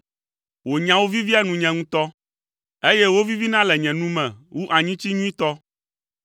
Wò nyawo vivia nunye ŋutɔ, eye wovivina le nye nu me wu anyitsi nyuitɔ!